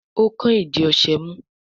o kán ìdí ọṣẹ mú